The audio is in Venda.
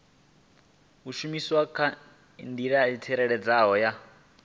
a shumiseswa kha indasiteri ya